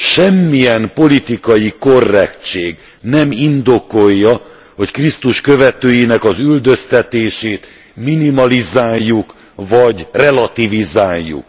Semmilyen politikai korrektség nem indokolja, hogy Krisztus követőinek az üldöztetését minimalizáljuk vagy relativizáljuk.